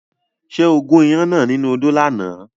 Ṣé o gún iyán náà nínú odó lánàá?